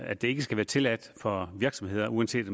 at det ikke skal være tilladt for virksomheder uanset